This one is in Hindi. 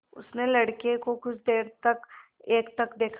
उसने लड़के को कुछ देर तक एकटक देखा